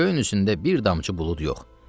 Göyün üzündə bir damcı bulud yox.